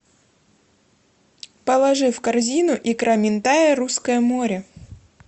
положи в корзину икра минтая русское море